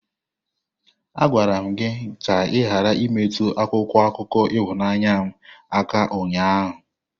Agwara m gi ka ighara imetụ akwụkwọ akụkọ ịhụnanya m aka ụnyaahụ!